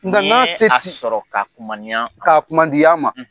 Nga na se ti Ni ye a sɔrɔ ka kumaniya ma, ka kumadiya ma.